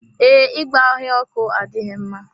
Ee, ịgba ọhịa ọkụ adịghị mma.